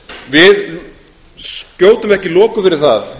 við skjótum ekki loku fyrir það